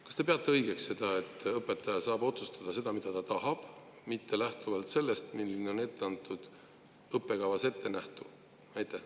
Kas te peate õigeks seda, et õpetaja saab otsustada lähtudes sellest, mida ta tahab, mitte sellest, milline on õppekavas ettenähtu?